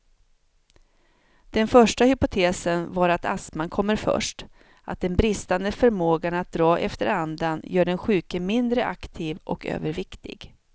Den första hypotesen var att astman kommer först, att den bristande förmågan att dra efter andan gör den sjuke mindre aktiv och överviktig.